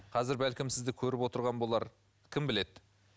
қазір бәлкім сізді көріп отырған болар кім біледі